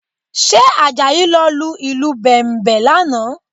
Ṣé Àjàyí ló lu ìlù Bẹ̀m̀bẹ̀ lánàá?